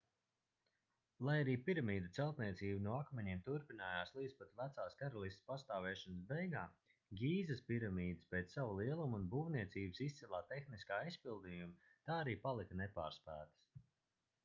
lai arī piramīdu celtniecība no akmeņiem turpinājās līdz pat vecās karalistes pastāvēšanas beigām gīzas piramīdas pēc sava lieluma un būvniecības izcilā tehniskā izpildījuma tā arī palika nepārspētas